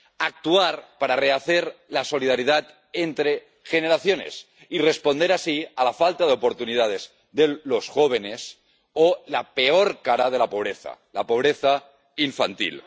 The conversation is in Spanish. Actuar para rehacer la solidaridad entre generaciones y responder así a la falta de oportunidades de los jóvenes, o a la peor cara de la pobreza la pobreza infantil.